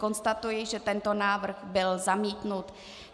Konstatuji, že tento návrh byl zamítnut.